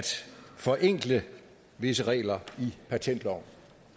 forenkle visse regler i patentloven